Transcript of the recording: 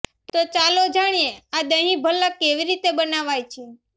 તો ચાલો જાણીએ આ દહીં ભલ્લા કેવી રીતે બનાવાય છે